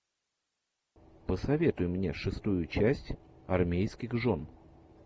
посоветуй мне шестую часть армейских жен